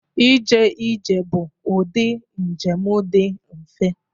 Ije ije bụ ụdị njem dị mfe.